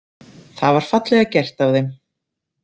Það var fallega gert af þeim.